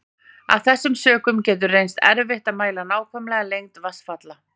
Af þessum sökum getur reynst erfitt að mæla nákvæma lengd vatnsfalla.